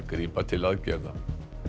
grípa til aðgerða